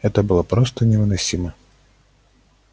это было просто невыносимо